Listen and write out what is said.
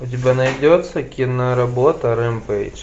у тебя найдется киноработа рэмпейдж